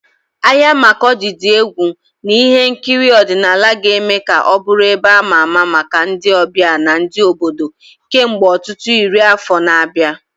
Ahịa Makurdi dị egwu na ihe nkiri ọdịnala ga-eme ka ọ bụrụ ebe ama ama maka ndị ọbịa na ndị obodo kemgbe ọtụtụ iri afọ na-abịa.